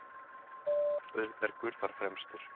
Auðbergur þar fremstur.